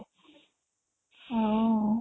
ଆଉ